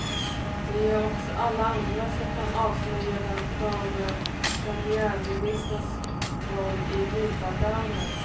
Det gör också alla andra som kan avslöja den förre premiärministerns roll i mutaffären.